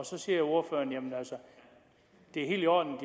så siger ordføreren det er helt i orden